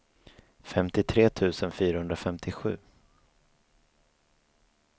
femtiotre tusen fyrahundrafemtiosju